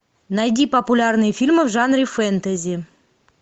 найди популярные фильмы в жанре фэнтези